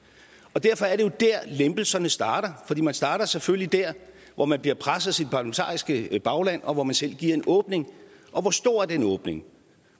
derfor er det jo der lempelserne starter for man starter selvfølgelig der hvor man bliver presset af sit parlamentariske bagland og hvor man selv giver en åbning og hvor stor er den åbning